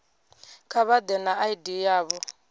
kha vha ḓe na id yavho